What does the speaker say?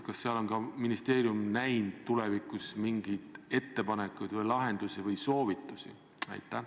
Kas seal on ka ministeerium näinud tulevikuks ette mingeid ettepanekuid, lahendusi või soovitusi?